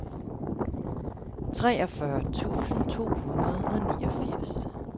treogfyrre tusind to hundrede og niogfirs